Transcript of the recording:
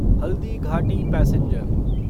Haldighati passenger